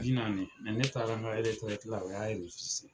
Bi naani mɛ ne taara n ka u y'a